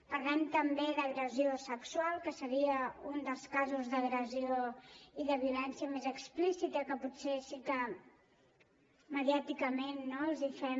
parlem també d’agressió sexual que seria un dels casos d’agressió i de violència més explicita que potser sí que mediàticament no els hi fem